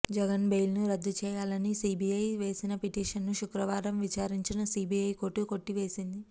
జగన్ బెయిల్ను రద్దు చేయాలని సీబీఐ వేసిన పిటిషన్ను శుక్రవారం విచారించిన సీబీఐ కోర్టు కొట్టేసింది